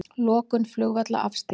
Lokun flugvalla afstýrt